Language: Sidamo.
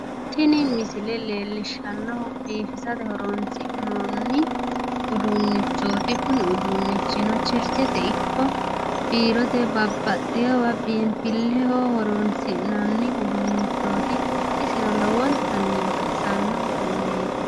tini misile leellishshannohu biifisate horonsi'noonni uduunnichooti kuni uduunnichino cherchete ikko biirote babbaxewa biinfilleho horonsi'nanni uduunnichooti isino lowontanni baxisanno uduunneeti.